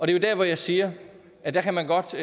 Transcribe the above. det er der jeg siger at man godt